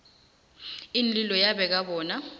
iinlilo yabeka bona